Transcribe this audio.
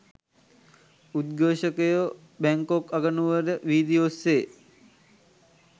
උද්ඝෝෂකයෝ Bangkok අගනුවර වීදි ඔස්සේ